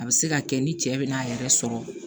A bɛ se ka kɛ ni cɛ bɛna a yɛrɛ sɔrɔ